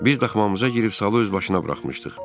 Biz daxmamıza girib salı özbaşına buraxmışdıq.